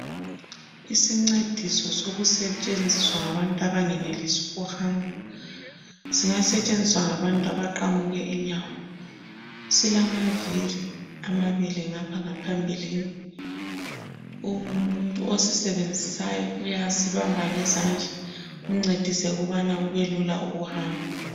Isincediso sokusetshenziswa ngabantu abangenelisi ukuhamba singasetshenziswa ngabantu abaqamuke inyawo. Silamavili amabili ngapha ngaphambilini. Umuntu osisebenzisayo uyasibamba ngezandla kumncedise ukubana kube lula ukuhamba.